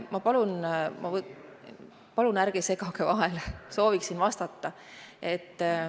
Ma palun, ärge segage vahele, sooviksin vastata.